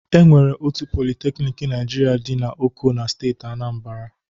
E nwere otu politeknik Naịjirịa dị n'Oko na steeti Aanambara.